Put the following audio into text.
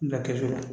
Da kɛsu la